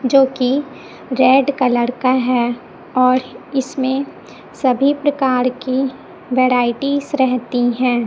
जोकि red colour का है और इसमें सभी प्रकार की वराइटीज रहती है।